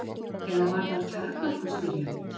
Eða var það kjarnorkustyrjöld?